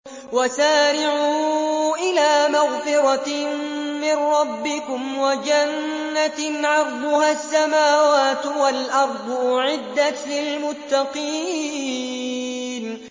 ۞ وَسَارِعُوا إِلَىٰ مَغْفِرَةٍ مِّن رَّبِّكُمْ وَجَنَّةٍ عَرْضُهَا السَّمَاوَاتُ وَالْأَرْضُ أُعِدَّتْ لِلْمُتَّقِينَ